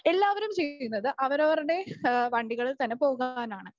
എല്ലാവരും ചെയ്യുന്നത് അവരവരുടെ ആഹ് വണ്ടികളിൽ തന്നെ പോകാനാണ്.